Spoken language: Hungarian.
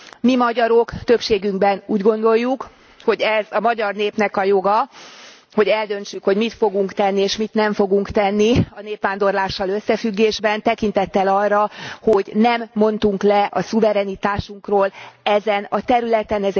Mi magyarok többségünkben úgy gondoljuk, hogy ez a magyar népnek a joga, hogy eldöntsük, hogy mit fogunk tenni és mit nem fogunk tenni a népvándorlással összefüggésben tekintettel arra, hogy nem mondtunk le a szuverenitásunkról ezen a területen.